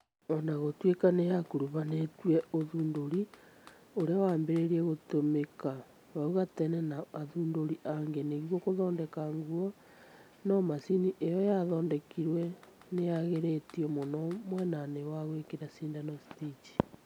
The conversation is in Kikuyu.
Onagũtuĩka nĩyakũruhanĩtie ũthundũri ũrĩa wambĩrĩirie gũtumĩka hau gatene na athundũri angĩ nĩguo gũthondeka nguo, no macini io yathondekirwo nĩyagĩrĩtio mũno mwena-inĩ wa gwĩkĩra cindano 'Stich'